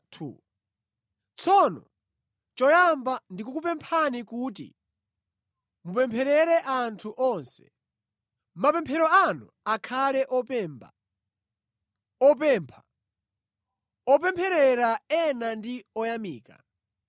Tsono choyamba ndikukupemphani kuti mupempherere anthu onse. Mapemphero anu akhale opemba, opempha, opempherera ena ndi oyamika.